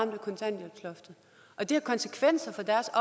ramt af kontanthjælpsloftet og det har konsekvenser